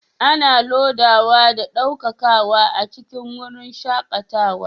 Ana lodawa da ɗaukakawa a cikin wurin shakatawa